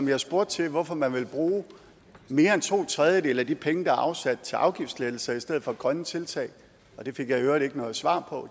jeg spurgte til hvorfor man vil bruge mere end to tredjedele af de penge der er afsat til afgiftslettelser i stedet for grønne tiltag det fik jeg i øvrigt ikke noget svar på